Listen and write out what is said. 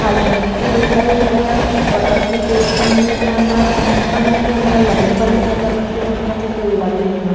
खाली मिट्टी दिख रही है और कछु पेड़ पन्नी के अंदर पन्नी अंदर लगे हैं। पन्नी के अंदर मट्टी भर के कछु पेड़ लगे हैं।